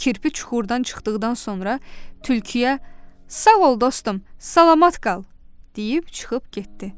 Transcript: Kirpi çuxurdan çıxdıqdan sonra tülküyə: "Sağ ol, dostum, salamat qal!" deyib çıxıb getdi.